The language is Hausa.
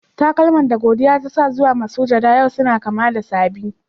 Takalma da godiya ta sa zuwa masujada yau suna kama da saɓi.